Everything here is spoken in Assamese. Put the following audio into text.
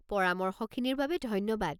পৰামৰ্শখিনিৰ বাবে ধন্যবাদ।